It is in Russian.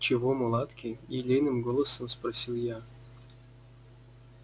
чего мулатки елейным голосом спросила я